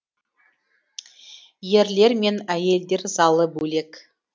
ерлер мен әйелдер залы бөлек